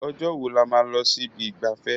Ọjọ́ wo là máa lọ sí ibi ìgbafẹ́?